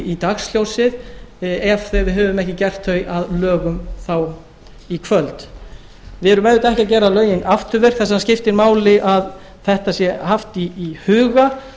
í dagsljósið ef við höfum ekki gert þau að lögum þá í kvöld við erum auðvitað ekki að gera lögin afturvirk þess vegna skiptir máli að þetta sé haft í huga